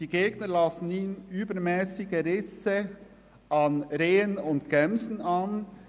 Die Gegner lasten ihm übermässige Risse an Rehen und Gämsen an;